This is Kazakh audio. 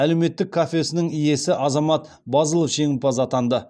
әлеуметтік кафесінің иесі азамат базылов жеңімпаз атанды